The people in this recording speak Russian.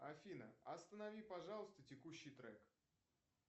афина останови пожалуйста текущий трек